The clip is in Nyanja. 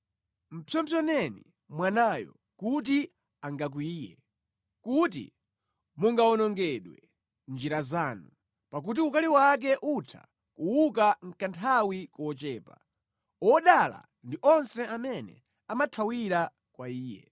Mpsopsoneni mwanayo kuti angakwiye; kuti mungawonongedwe mʼnjira zanu, pakuti ukali wake utha kuuka mʼkanthawi kochepa. Odala ndi onse amene amathawira kwa Iye.